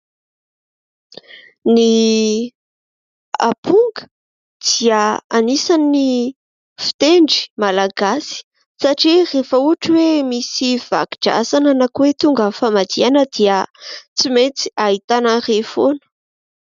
Ny aponga, dia anisan'ny fitendry Malagasy satria rehefa ohatra hoe misy vako-drazana na koa hoe tonga ny famadihana dia tsy maintsy ahitana an'ireny foana.